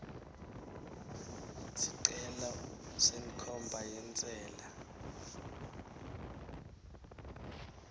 sicelo senkhomba yentsela